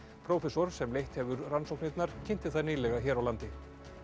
prófessor sem leitt hefur rannsóknirnar kynnti þær nýlega hér á landi